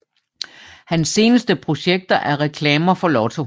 Hans seneste projekter er reklamer for Lotto